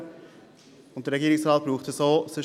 Der Regierungsrat braucht diese auch.